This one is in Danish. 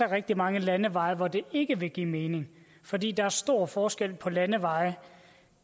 rigtig mange landeveje hvor det ikke vil give mening fordi der er stor forskel på landevejene